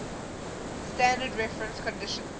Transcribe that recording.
standard reference conditions